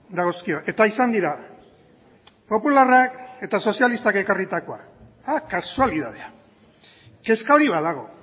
dagozkio eta izan dira popularrak eta sozialistak ekarritakoak kasualidadea kezka hori badago